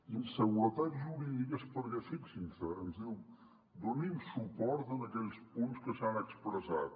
inseguretat jurídica és perquè fixin·s’hi ens diu donin suport a aquells punts que s’han expressat